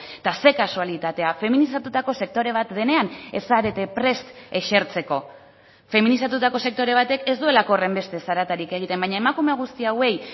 eta ze kasualitatea feminizatutako sektore bat denean ez zarete prest esertzeko feminizatutako sektore batek ez duelako horrenbeste zaratarik egiten baina emakume guzti hauei